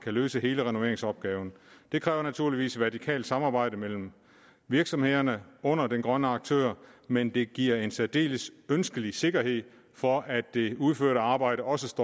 løse hele renoveringsopgaven det kræver naturligvis et vertikalt samarbejde mellem virksomhederne under den grønne aktør men det giver en særdeles ønskelig sikkerhed for at det udførte arbejde også